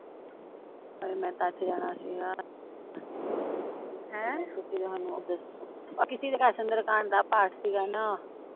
ਹਾਏ ਮੈਂ ਤਾਂ ਅੱਜ ਜਾਣਾ ਸੀਗ ਦੋ ਹਮ ਕਿਸੀ ਦੇ ਘਰ ਦਾ ਪਾਠ ਸੀਗਾ ਨਾ